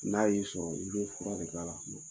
N'a y'i sɔrɔ, i be fura de k'a la